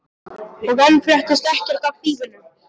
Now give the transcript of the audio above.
Og enn fréttist ekkert af þýfinu.